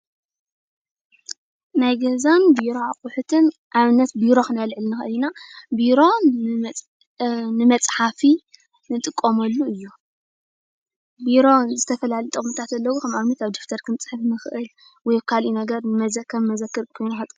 ናይ ገዛን ቢሮ አቁሑትን አብነት ቢሮ ክነልዕል ንክእል ኢና። ቢሮ ንመፅሓፊ እንጥቀመሉ እዩ። ቢሮ ዝተፈላለዩ ጥቅምታት አለዎ። ከም አብነት አብ ደፍተር ክንፅሕፍ ንክእል ወይ ካሊእ ነገር ከም መዘክር ኮይኑ።